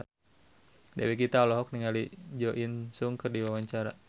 Dewi Gita olohok ningali Jo In Sung keur diwawancara